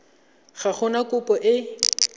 ga go na kopo e